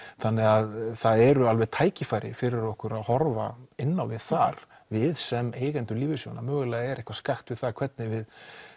þannig það eru alveg tækifæri fyrir okkur að horfa inn á við þar við sem eigendur lífeyrissjóðanna mögulega er eitthvað skakkt með það hvernig við